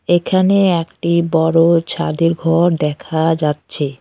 এখানে একটি বড় ছাদের ঘর দেখা যাচ্ছে।